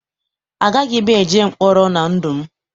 Agaghị m eje mkpọrọ na ndụ m.